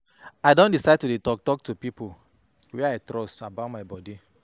I don decide to dey talk talk to people wey I trust about my bodi.